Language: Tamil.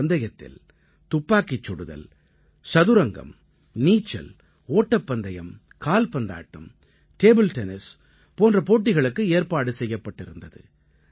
இந்தப் பந்தயத்தில் துப்பாக்கிச் சுடுதல் சதுரங்கம் நீச்சல் ஓட்டப்பந்தயம் காலபந்தாட்டம் டேபிள் டென்னிஸ் போன்ற போட்டிகளுக்கு ஏற்பாடு செய்யப்பட்டிருந்தது